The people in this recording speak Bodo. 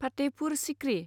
फाथेहपुर सिक्रि